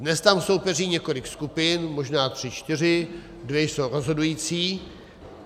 Dnes tam soupeří několik skupin, možná tři čtyři, dvě jsou rozhodující.